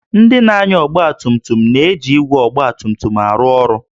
Ndị na-anya ọgba tum tum na-eji igwe ọgba tum tum arụ ọrụ